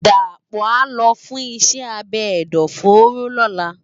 Dapo á lò fùn iṣè ábé ẹdọfóró lòlá